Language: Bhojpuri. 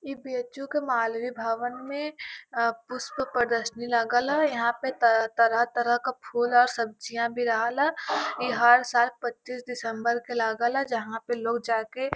ई बी एच यु के मालवीय भवन में अ पुष्प प्रदर्शनी लगल ह यहाँ पे तरह तरह क फूल अ सब्जियां भी रहल ह। ई हर साल पच्चीस दिसम्बर के लागल ह जहा पे लोग जाके --